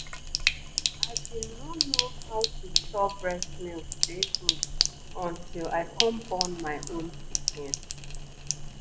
i been no know how to store breast milk dey good until i come born my own pikin